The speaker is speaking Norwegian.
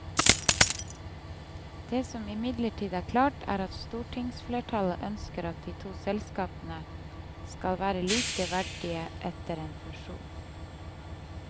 Det som imidlertid er klart er at stortingsflertallet ønsker at de to selskapene skal være likeverdige etter en fusjon.